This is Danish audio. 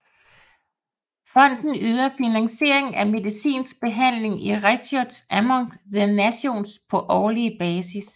Fonden yder finansiering af medicinsk behandling i Righteous among the Nations på årlig basis